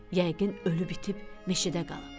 Yəqin ölüb itib meşədə qalıb.